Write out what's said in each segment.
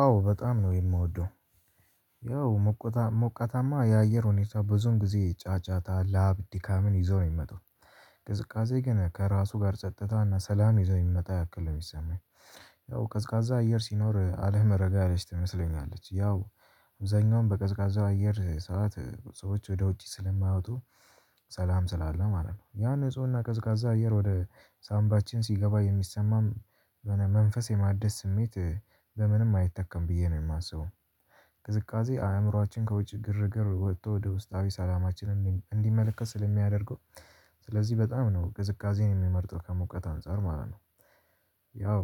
አዎ በጣም ነው የምወደው ያው ሞቀታማ የአየር ሁኔታ በዞን ጊዜ ጫጫታ ላብ ድካምን ይዘው ነው የሚመጣው። ቅዝቃዜ ግን ከራሱ ጋር ጸጥታና ሰላም ይዘው የሚመጣ ያክል ነው የሚሰማኝ። ያው ቀዝቃዛ አየር ሲኖር አለመረጋጋት ላይ ትመስለኛለች ያው አብዛኛውን በቀዝቃዛ አየር ሰዓት ሰዎች ወደ ውጪ ስለማያወጡ ሰላም ስላለ ማለት ነው። ያን ንፁህና ቀዝቃዛ አየር ወደ ሳምባችን ሲገባ የሚሰማን መንፈስ የማደስ ስሜት በምንም አይተከም ብዬ ነው የማስበው። ቅዝቃዜ አእምሮአችን ከውጭ ግርግር ወጥቶ ወደ ውስጣዊ ሰላማችን እንዲመለከት ስለሚያደርገው። ስለዚህ በጣም ነው ቅዝቃዜን የምመርጠው ከሙቀት አንፃር ማለት ነው። ያው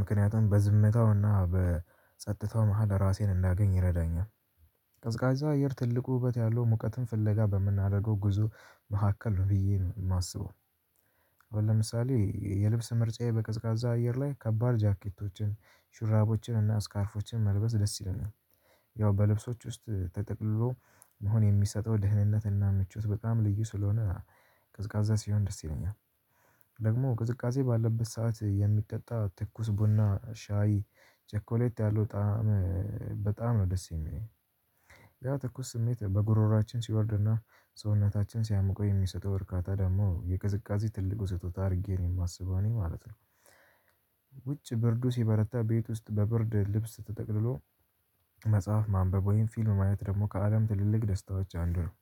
ምክንያቱም በዝምታውና በጸጥታው መሃል ራሴን እዳገኝ ይረዳኛል። ቀዝቃዛ አየር ትልቁ ዉበት ያለው ሙቀትን ፍለጋ በምናደርገው ጉዞ መካከል ብዬ ነው የማስበው። ለምሳሌ የልብስ ምርጫዬ በቅዝቃዛ አየር ላይ ከባድ ጃኬቶችን ሹራቦችን እና ስካርፎችን መልበስ ደስ ይለኛል። ያው በልብሶች ውስጥ ተጠቅልሎ መሆን የሚሰጠው ደህንነት እና ምቾት በጣም ልዩ ስለሆነ። ቀዝቃዛ ሲሆን ደስ ይለኛል። ደግሞ ቅዝቃዜ ባለበት ሰዓት የሚጠጣ ትኩስ ቡና ሻይ ቸኮሌት ያለው ጣዕም በጣም ነው ደስ የሚለኝ። ያው ትኩስ ስሜት በጉሮሮአችን ሲወርድና ሰውነታችን ሲያሞቀው የሚሰጠው እርካታ ደግሞ የቅዝቃዜ ትልቁ ስጦታ አድርጌ ነው የማስበው እኔ ማለት ነው። ውጭ ብርዱ ሲበረታ ቤት ውስጥ በብርድ ልብስ ተጠቅልሎ መጽሐፍ ማንበብ ወይም ፊልም ማየት ደግሞ ከአለም ትልልቅ ደስታዎች አንዱ ነው።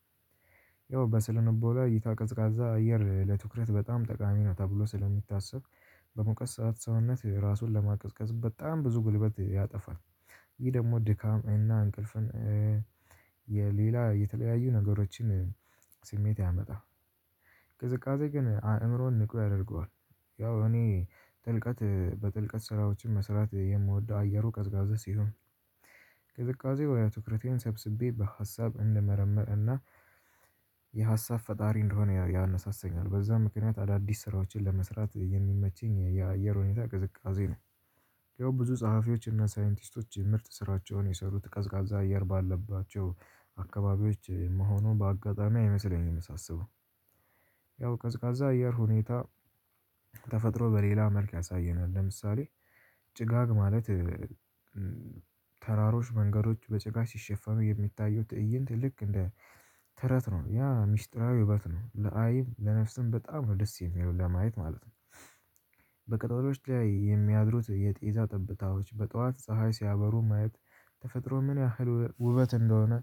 ያው በስነ ልቦና እይታ ቀዝቃዛ አየር ለትኩረት በጣም ጠቃሚ ነው ተብሎ ስለሚታሰብ። በሙቀት ሰዓት ሰውነት ራሱን ለማቀዝቀዝ በጣም ብዙ ጉልበት ያጠፋል። ይህ ደግሞ ድካም እና እንቅልፍን የሌላ የተለያዩ ነገሮችን ስሜት ያመጣል። ቅዝቃዜ ግን አእምሮን ንቁ ያደርገዋል። ያው እኔ ጥልቀት በጥልቀት ስራዎችን መስራት የምወደው አየሩ ቀዝቃዛ ሲሆን። ቅዝቃዜው ትኩረቴን ሰብስቤ በሀሳብ እንደመረምር እና የሀሳብ ፈጣሪ እንደሆነ ያነሳሰኛል በዛ ምክንያት አዳዲስ ስራዎችን ለመስራት የሚመቸኝ የአየር ሁኔታ ቅዝቃዜ ነው። ያው ብዙ ጸሀፊዎች እና ሳይንቲስቶች የምርጥ ስራቸውን የሰሩት ቀዝቃዛ አየር ባለባቸው አካባቢዎች መሆኑ በአጋጣሚ አይመስለኝም ሳስበው። ያው ቀዝቃዛ አየር ሁኔታ። ተፈጥሮ በሌላ መልክ ያሳየናል ለምሳሌ። ጭጋግ ማለት ተራሮች መንገዶች በጭጋግ ሲሸፈኑ የሚታዩት ትእይንት ልክ እንደ ተረት ነው ያ ሚስጥራዊ ዉበት ነው ለአይንም ለነፍስም በጣም ነው ደስ የሚለው ለማየት ማለት ነው። በቅጠሎች ላይ የሚያድሩት የጤዛ ጠብታዎች በጠዋት ፀሀይ ሲያበሩ ማየት ተፈጥሮ ምን ያህል ውበት እንደሆነ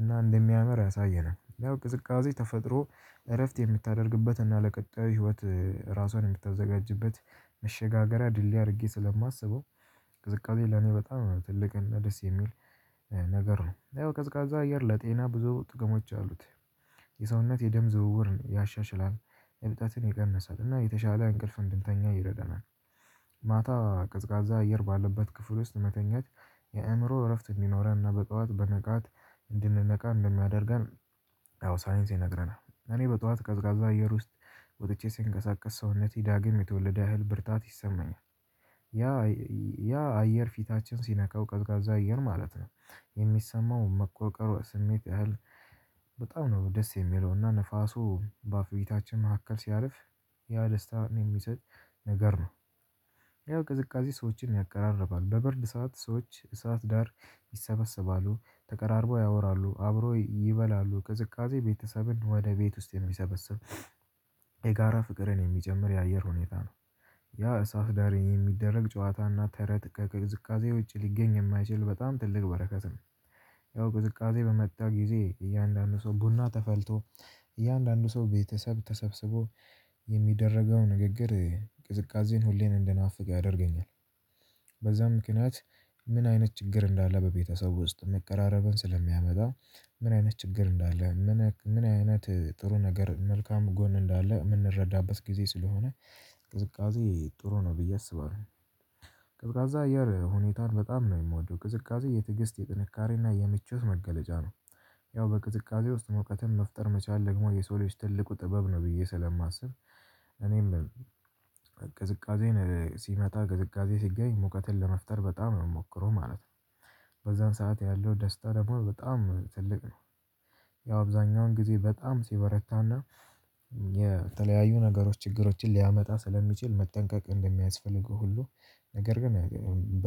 እና እንደሚያምር ያሳየናል። ያው ቅዝቃዜ ተፈጥሮ እረፍት የምታደርግበት እና ለቀጣይ ህይወት ራሷን የምታዘጋጅበት መሸጋገሪያ ድልድይ አድርጌ ስለማስበው። ቅዝቃዜ ለኔ በጣም ነው ትልቅ እና ደስ የሚል ነገር ነው ያው ቀዝቃዛ አየር ለጤና ብዙ ጥቅሞች አሉት። የሰውነት የደም ዝውውር ያሻሽላል። እብጠትን ይቀንሳል እና የተሻለ እንቅልፍ እንድንተኛ ይረዳናል። ማታ ቀዝቃዛ አየር ባለበት ክፍል ውስጥ መተኛት የአእምሮ እረፍት እንዲኖረንና በጠዋት በነቃት እንድንነቃ እንደሚያደርገን። አዎ ሳይንስ ይነግረናል እኔ በጧት ቀዝቃዛ አየር ውስጥ ወጥቼ ስንቀሳቀስ ሰውነቴ ዳግም የተወለደ ያህል ብርታት ይሰማኛል። ያ አየር ፊታችን ሲነካው ቀዝቃዛ አየር ማለት ነው። የሚሰማው መቆቀር ስሜት ያህል በጣም ነው ደስ የሚለውና ንፋሱ በአፍቢታችን መካከል ሲያልፍ ያ ደስታ የሚሰጥ ነገር ነው። ያው ቅዝቃዜ ሰዎችን ያቀራርባል በብርድ ሰዓት ሰዎች እሳት ዳር ይሰበሰባሉ ተቀራርበው ያወራሉ አብረው ይበላሉ ቅዝቃዜ ቤተሰብን ወደ ቤት ውስጥ የሚሰበስብ። የጋራ ፍቅርን የሚጨምር የአየር ሁኔታ ነው። ያ እሳት ዳር የሚደረግ ጨዋታና ተረት ከቅዝቃዜ ውጭ ሊገኝ የማይችል በጣም ትልቅ በረከት ነው። ያው ቅዝቃዜ በመጣ ጊዜ እያንዳንዱ ሰው ቡና ተፈልቶ እያንዳንዱ ሰው ቤተሰብ ተሰብስቦ የሚደረገው ንግግር ቅዝቃዜን ሁሌን እንደናፍቅ ያደርገኛል። በዛ ምክንያት ምን አይነት ችግር እንዳለ በቤተሰብ ውስጥ መቀራረብን ስለሚያመጣ ምን አይነት ችግር እንዳለ ምን አይነት ጥሩ ነገር መልካም ጎን እንዳለ እምንረዳበት ጊዜ ስለሆነ ቅዝቃዜ ጥሩ ነው ብዬ አስባለሁ። ቀዝቃዛ አየር ሁኔታን በጣም ነው የምወደው ቅዝቃዜ የትግስት የጥንካሬና የምቾት መገለጫ ነው። ያው በቅዝቃዜ ውስጥ ሙቀትን መፍጠር መቻል ደግሞ የሰው ልጅ ትልቁ ጥበብ ነው ብዬ ስለማስብ እኔም ቅዝቃዜን ሲመጣ ቅዝቃዜ ሲገኝ ሙቀትን ለመፍጠር በጣም ነው የምሞክረው ማለት ነው። በዛን ሰዓት ያለው ደስታ ደግሞ በጣም ትልቅ ነው። ያው አብዛኛውን ጊዜ በጣም ሲበረታና የተለያዩ ነገሮች ችግሮችን ሊያመጣ ስለሚችል መጠንቀቅ እንደሚያስፈልገው ሁሉ። ነገር ግን በ